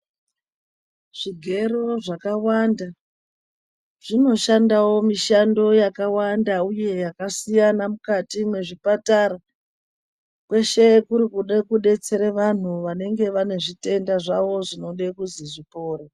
Zvigero zvakawanda, zvinoshandawo mishando yakawanda uye yakasiyana mukati mwezvipatara, kweshe kuri kuda kudetsere vanhu vanenge vane zvitenda zvavo zvinode kuzi zvipore.